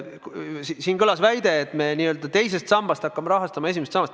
Siin kõlas väide, et me teisest sambast hakkame rahastama esimest sammast.